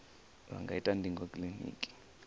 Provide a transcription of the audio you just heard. vha nga ita ndingo kiliniki